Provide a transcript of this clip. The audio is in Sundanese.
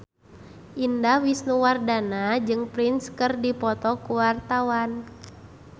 Indah Wisnuwardana jeung Prince keur dipoto ku wartawan